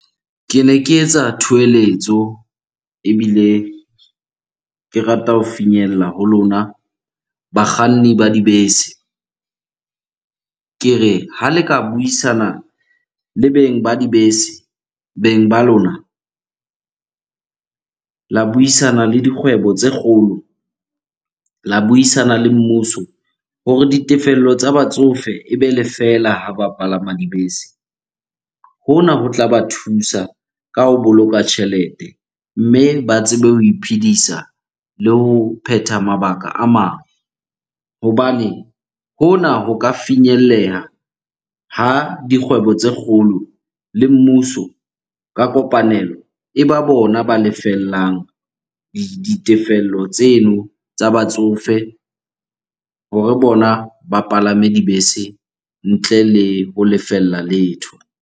Kene ke etsa thoeletso ebile ke rata ho finyella ho lona bakganni ba dibese. Ke re, ha le ka buisana le beng ba dibese, beng ba lona. La buisana le dikgwebo tse kgolo, la buisana le mmuso hore ditefello tsa batsofe e be lefela ha ba palama dibese. Hona ho tla ba thusa ka ho boloka tjhelete mme ba tsebe ho iphidisa le ho phetha mabaka a mang. Hobane hona ho ka finyelleha ha dikgwebo tse kgolo le mmuso ka kopanelo, e ba bona ba lefellang ditefello tseno tsa batsofe hore bona ba palame dibese ntle le ho lefella letho.